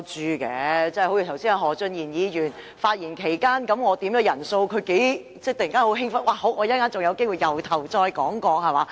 我剛才在何俊賢議員發言期間要求點算人數，他不知有多興奮，說稍後又有機會從頭說起。